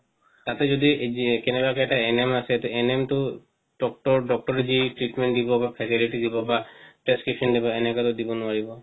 তাতে যদি কেনেকা যে এটা এনেম আছে সেই এনেমটো doctor doctor ৰে দিই treatment দিব বা faculty দিব বা prescription দিব এনেকা তো দিব নোৱাৰিব